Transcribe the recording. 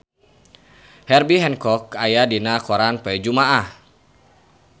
Herbie Hancock aya dina koran poe Jumaah